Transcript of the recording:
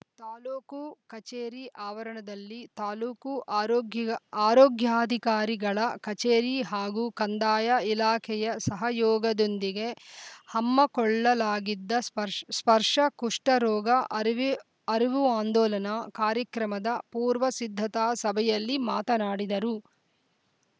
ತಾಲೂಕು ಕಚೇರಿ ಆವರಣದಲ್ಲಿ ತಾಲೂಕು ಆರೋಗ್ಯ್ ಆರೋಗ್ಯಾಧಿಕಾರಿಗಳ ಕಚೇರಿ ಹಾಗೂ ಕಂದಾಯ ಇಲಾಖೆಯ ಸಹಯೋಗದೊಂದಿಗೆ ಅಮ್ಮಕೊಳ್ಳಲಾಗಿದ್ದ ಸ್ಪ ಸ್ಪರ್ಶ ಕುಷ್ಠ ರೋಗ ಅರಿವೆ ಅರಿವು ಆಂದೋಲನ ಕಾರ್ಯಕ್ರಮದ ಪೂರ್ವ ಸಿದ್ಧತಾ ಸಭೆಯಲ್ಲಿ ಮಾತನಾಡಿದರು